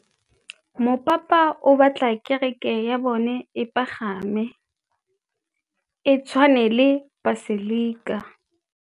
Mopapa o batla kereke ya bone e pagame, e tshwane le paselika.